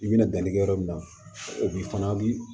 I bɛna danni kɛ yɔrɔ min na o b'i fana bi